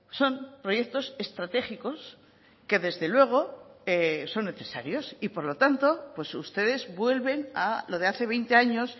son proyectos estratégicos que desde luego son necesarios y por lo tanto pues ustedes vuelven a lo de hace veinte años